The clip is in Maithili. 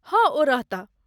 हँ, ओ रहताह।